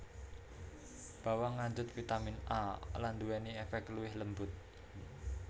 Bawang ngandhut vitamin A lan nduwèni èfèk luwih lembut